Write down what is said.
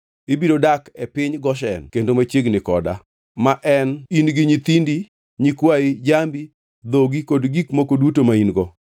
Ibiro dak e piny Goshen kendo machiegni koda; ma en in gi nyithindi, nyikwayi, jambi, dhogi kod gik moko duto ma in-go.